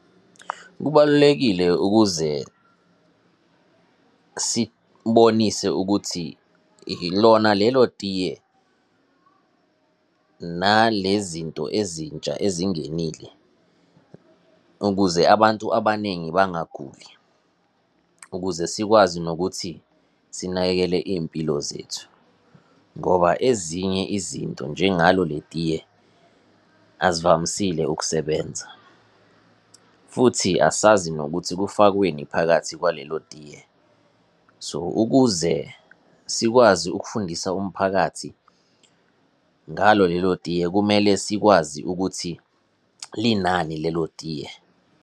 Kubalulekile ukuze sibonise ukuthi lona lelo tiye nale zinto ezintsha ezingenile ukuze abantu abaningi bangaguli, ukuze sikwazi nokuthi sinakekele iy'mpilo zethu. Ngoba ezinye izinto, njengalo le tiye azivamisile ukusebenza, futhi asazi nokuthi kufakweni phakathi kwalelo tiye. So, ukuze sikwazi ukufundisa umphakathi ngalo lelo tiye, kumele sikwazi ukuthi linani lelo tiye.